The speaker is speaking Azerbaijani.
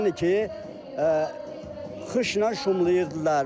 Yəni ki, qışnan şumlayırdılar.